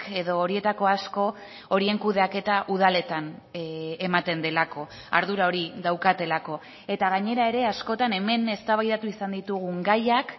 edo horietako asko horien kudeaketa udaletan ematen delako ardura hori daukatelako eta gainera ere askotan hemen eztabaidatu izan ditugun gaiak